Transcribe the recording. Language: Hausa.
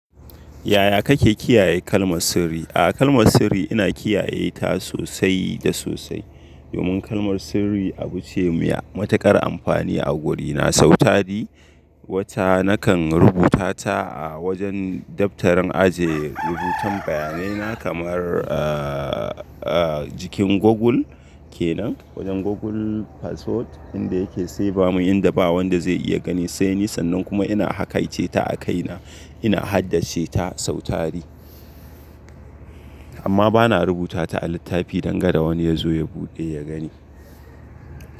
Yaya kake kiyaye kalmar sirri? A'a kalmar sirri ina kiyaye ta sosai da sosai. Domin kalmar sirri abu ce mai matuƙar amfani a wurina sau tari. Wata nakan rubuta ta a wajen daftarin aje rubutan bayanai na kamar, aa jikin Google kenan, wajen Google Password inda yake save mun inda ba wanda zai iya gani sai ni sannan kuma ina hakaice ta a kaina ina haddace ta sau tari. Amma bana rubuta ta a littafi dangada wani ya zo ya buɗe ya gani.